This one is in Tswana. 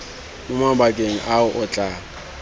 mo mabakeng ao o tla